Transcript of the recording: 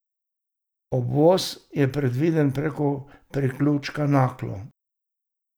Obvoz je predviden preko priključka Naklo.